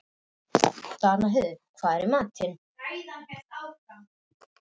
Danheiður, hvað er í matinn?